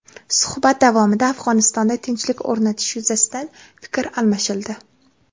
Suhbat davomida Afg‘onistonda tinchlik o‘rnatish yuzasidan fikr almashildi.